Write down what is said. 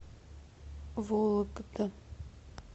вологда